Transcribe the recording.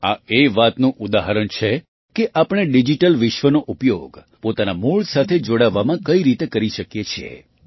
આ એ વાતનું ઉદાહરણ છે કે આપણે ડિજિટલ વિશ્વનો ઉપયોગ પોતાનાં મૂળ સાથે જોડાવવામાં કઈ રીતે કરી શકીએ છીએ